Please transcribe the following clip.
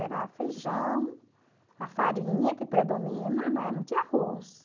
Era feijão, a farinha que predomina, né, não tinha arroz.